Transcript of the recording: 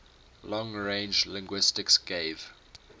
long range linguistics gave